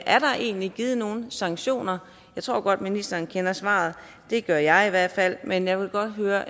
er der egentlig givet nogen sanktioner jeg tror godt ministeren kender svaret det gør jeg i hvert fald men jeg vil godt høre